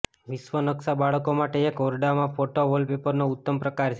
વિશ્વ નકશા બાળકો માટે એક ઓરડામાં ફોટો વોલપેપરોનો ઉત્તમ પ્રકાર છે